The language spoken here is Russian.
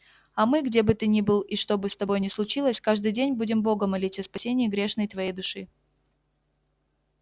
а мы где бы ты ни был и что бы с тобою ни случилось каждый день будем бога молить о спасении грешной твоей души